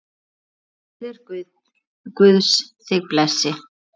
Friður Guðs þig blessi.